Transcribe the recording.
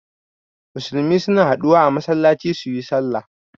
Musulmai suna haɗuwa a masallaci suyi sallah